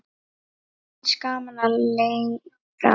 Mér finnst gaman að leira.